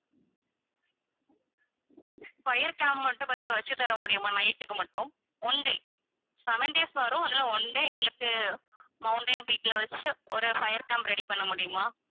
fire camp மட்டும் கொஞ்சம் வச்சி தர முடியுமா night க்கு மட்டும் one day seven days வறோம் அதுல one day எங்களுக்கு mountain peak ல வெச்சி ஒரு fire camp ready பண்ண முடியுமா